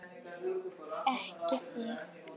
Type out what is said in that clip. Ekki þig!